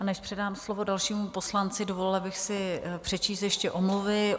A než předám slovo dalšímu poslanci, dovolila bych si přečíst ještě omluvy.